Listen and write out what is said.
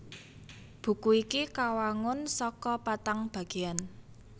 Buku iki kawangun saka patang bagéan